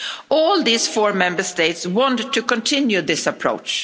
All four Member States want to continue this approach.